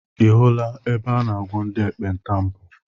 I hụla ebe a na-agwọ ndị ekpenta mbụ?